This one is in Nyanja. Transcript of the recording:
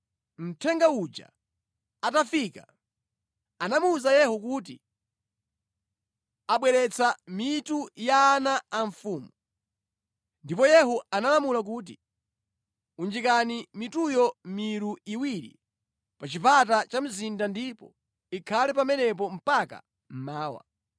Mthenga uja atafika, anamuwuza Yehu kuti, “Abweretsa mitu ya ana a mfumu.” Ndipo Yehu analamula kuti, “Unjikani mituyo mʼmilu iwiri pa chipata cha mzinda ndipo ikhale pamenepo mpaka mmawa.”